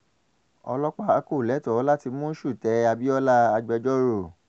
ọlọ́pàá kò lẹ́tọ̀ọ́ láti mú ṣúté abiola-agbejọ́rò